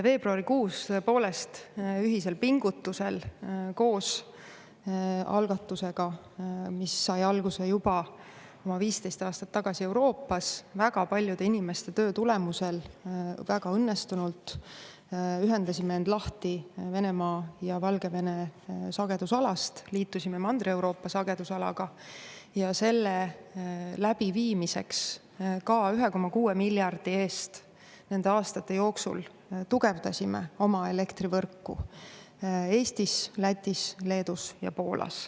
Veebruarikuus, tõepoolest, ühisel pingutusel koos algatusega, mis sai alguse juba oma 15 aastat tagasi Euroopas, väga paljude inimeste töö tulemusel, väga õnnestunult ühendasime end lahti Venemaa ja Valgevene sagedusalast, liitusime Mandri-Euroopa sagedusalaga ja selle läbiviimiseks 1,6 miljardi eest nende aastate jooksul tugevdasime oma elektrivõrku Eestis, Lätis, Leedus ja Poolas.